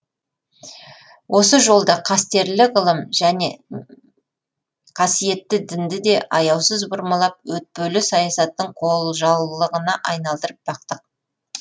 осы жолда қастерлі ғылым және қасиетті дінді де аяусыз бұрмалап өтпелі саясаттың қолжаулығына айналдырып бақтық